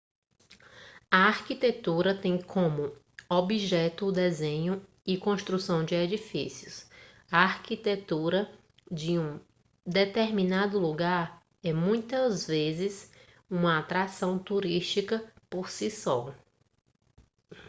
a arquitetura tem como objeto o desenho e construção de edifícios a arquitetura de um determinado lugar é muitas vezes uma atração turística por si só